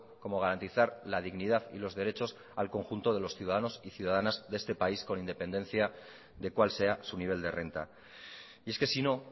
como garantizar la dignidad y los derechos al conjunto de los ciudadanos y ciudadanas de este país con independencia de cuál sea su nivel de renta y es que si no